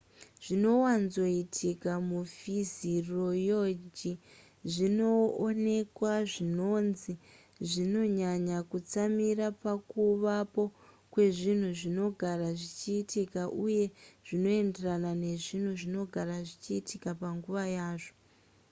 zvinowanzoitika mufiziyoroji zvinoonekwa zvinonzi zvinonyanya kutsamira pakuvapo kwezvinhu zvinogara zvichiitika uye zvinoenderana nezvinhu zvinogara zvichiitika panguva yazvo